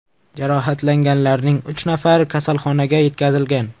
Jarohatlanganlarning uch nafari kasalxonaga yetkazilgan.